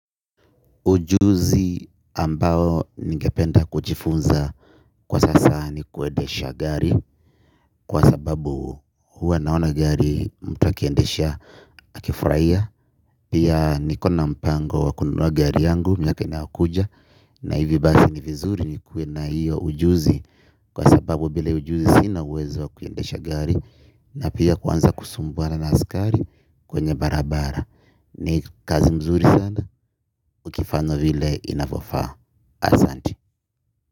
Ujuzi ambao ningependa kujifunza kwa sasa ni kuendesha gari kwa sababu huwa naona gari mtu akiendesha akifurahia. Pia nikona mpango wa kununua gari yangu miaka inayokuja na hivi basi ni vizuri ni kuwe na hiyo ujuzi kwa sababu bila hiyo ujuzi sina uwezo kuiendesha gari. Na pia kwanza kusumbuana na askari kwenye barabara. Ni kazi mzuri sana ukifanya vile inafofaa. Asanti.